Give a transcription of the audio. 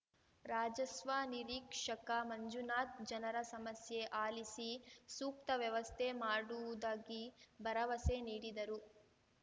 ರಾಜಸ್ವ ನಿರೀಕ್ಷಕ ಮಂಜುನಾಥ್‌ ಜನರ ಸಮಸ್ಯೆ ಆಲಿಸಿ ಸೂಕ್ತ ವ್ಯವಸ್ಥೆ ಮಾಡುವುದಾಗಿ ಭರವಸೆ ನೀಡಿದರು